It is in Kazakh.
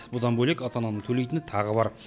бұдан бөлек ата ананың төлейтіні тағы бар